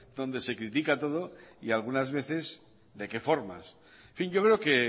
donde se critica todo y algunas veces de qué formas en fin yo creo que